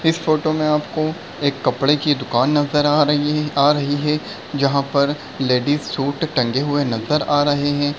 इस फोटो में अपको एक कपड़े की दुकान नजर आ रही है आ रही है जहाँ पर लेडिस सूट टंगे हुए नजर आ रहे हैं।